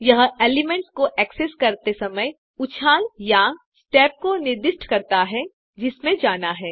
यह एलिमेंट्स को एक्सेस करते समय उछाल या स्टेप को निर्दिष्ट करता है जिसमें जाना है